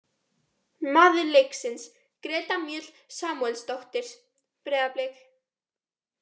Maður leiksins: Greta Mjöll Samúelsdóttir, Breiðablik.